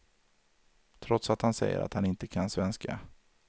Trots att han säger att han inte kan svenska.